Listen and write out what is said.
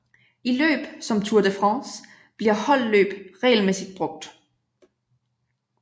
I løb som Tour de France bliver holdløb regelmæssigt brugt